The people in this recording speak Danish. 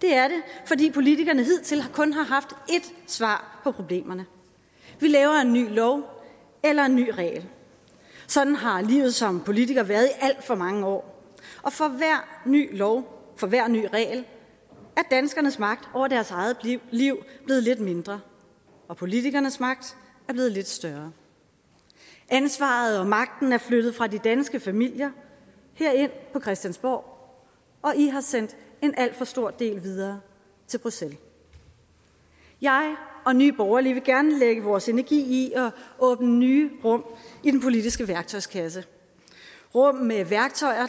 det er det fordi politikerne hidtil kun har haft ét svar på problemerne vi laver en ny lov eller en ny regel sådan har livet som politiker været i alt for mange år og for hver ny lov for hver ny regel er danskernes magt over deres eget liv blevet lidt mindre og politikernes magt er blevet lidt større ansvaret og magten er flyttet fra de danske familier herind på christiansborg og i har sendt en alt for stor del videre til bruxelles jeg og nye borgerlige vil gerne lægge vores energi i at åbne nye rum i den politiske værktøjskasse rum med værktøjer